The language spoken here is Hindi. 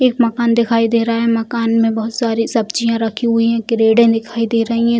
एक मकान दिखाई दे रहा है मकान में बहुत सारी सब्जिया रखी हुई है क्रेडे दिखाई दे रही है।